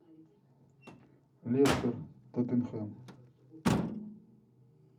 лестер тоттенхэм